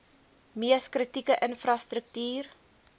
mees kritieke infrastruktuur